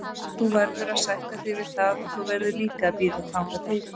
Þú verður að sætta þig við það og þú verður líka að bíða þangað til.